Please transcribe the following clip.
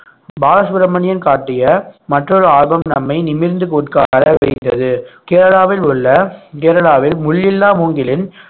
பாலசுப்ரமணியம் காட்டிய மற்றொரு ஆல்பம் நம்மை நிமிர்ந்து உட்கார வைத்தது கேரளாவில் உள்ள கேரளாவில் முள் இல்லா மூங்கிலின்